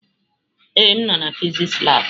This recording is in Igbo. Ee, m nọ na fịsịsị labụ.